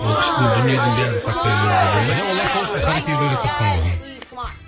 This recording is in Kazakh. оны іштің дүниенің бәрін сақтай беруге болмайды иә олар сол үшін харакириді ойлап тапқан ғой